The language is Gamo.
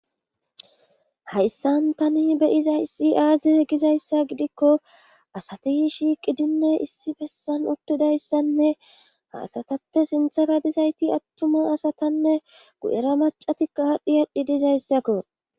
hayssan tani beyiza isi aaze gizayssa gidikko asati shiiqidinne issi bessan uttidayssanne haasatappe sinthara dizayti attuma asatanne gu7era macatikko haadhdhi adhi dizayssakko